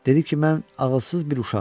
Dedi ki, mən ağılsız bir uşağam.